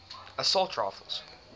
assault rifles